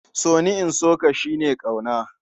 So ni, in so ka shi ne ƙauna.